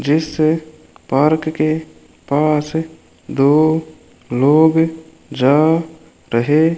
जिस पार्क के पास दो लोग जा रहे --